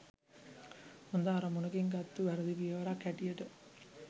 හොඳ අරමුණකින් ගත්තු වැරදි පියවරක් හැටියට